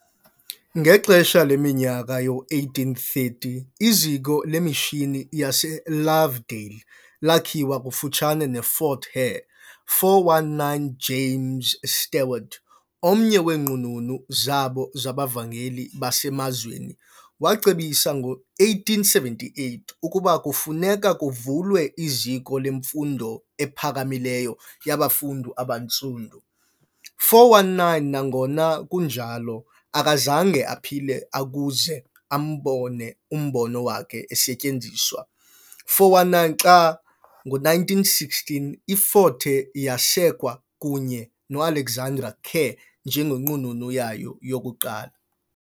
Ngexesha leminyaka yoo1830, iZiko leMishini yaseLovedale lakhiwa kufutshane neFort Hare. 419 James Stewart, omnye weenqununu zabo zabavangeli basemazweni, wacebisa ngo-1878 ukuba kufuneka kuvulwe iziko lemfundo ephakamileyo yabafundi abaNtsundu. 419 Nangona kunjalo, akazange aphile akuze ambone umbono wakhe usetyenziswa 419 xa, ngo1916, iFort Hare yasekwa kunye no-Alexander Kerr njengenqununu yayo yokuqala.